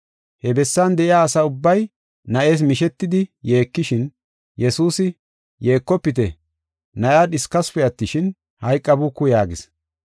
He bessan de7iya asa ubbay na7ees mishetidi yeekishin, Yesuusi, “Yeekofite Na7iya dhiskasupe attishin, hayqabuuku” yaagis.